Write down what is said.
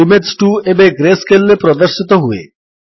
image 2 ଏବେ greyscale ରେ ପ୍ରଦର୍ଶିତ ହୁଏ